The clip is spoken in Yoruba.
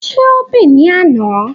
Ṣé ó bì ní àna?